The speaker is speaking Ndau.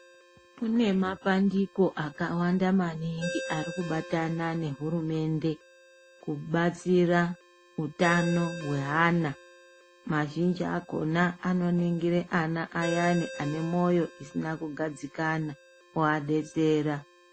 Kune mapandiko akawanda maningi ari kubatana nehurumende kubatsira utano hweana, mazhinji akona anoningira ana ayani ane moyo isina kugadzikana ovadetsera.